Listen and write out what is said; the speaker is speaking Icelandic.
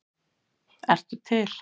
ert til!